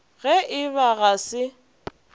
ge e ba ga se